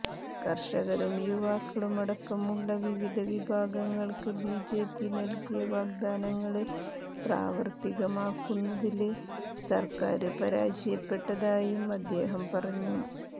കര്ഷകരും യുവാക്കളുമടക്കമുള്ള വിവിധ വിഭാഗങ്ങള്ക്ക് ബിജെപി നല്കിയ വാഗ്ദാനങ്ങള് പ്രാവര്ത്തികമാക്കുന്നതില് സര്ക്കാര് പരാജയപ്പെട്ടതായും അദ്ദേഹം പറഞ്ഞു